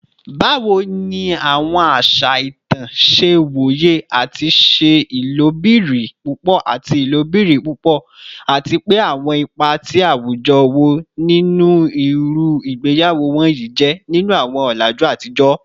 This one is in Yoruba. Bawo ni awọn aṣa itan ṣe woye ati ṣe ilobirin pupọ ati ilobirin pupọ, ati pe awọn ipa ti awujọ wo ni iru igbeyawo wọnyi jẹ ninu awọn ọlaju atijọ?